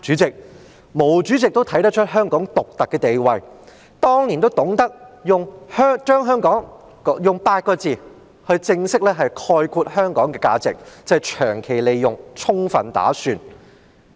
對，毛主席也看出香港獨特的地位，當年懂得用8個字正式概括香港的價值："長期利用，充分打算"。